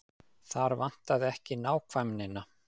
Þar vantaði ekki nákvæmnina.